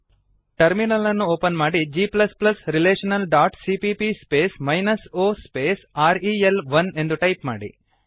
terminal ಅನ್ನು open ಮಾಡಿ g relationalಸಿಪಿಪಿ o ರೆಲ್1 G relational dot CPP space minus O space R E L one ಎಂದು type ಮಾಡಿ